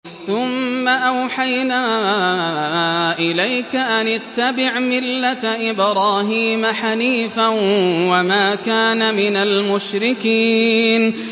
ثُمَّ أَوْحَيْنَا إِلَيْكَ أَنِ اتَّبِعْ مِلَّةَ إِبْرَاهِيمَ حَنِيفًا ۖ وَمَا كَانَ مِنَ الْمُشْرِكِينَ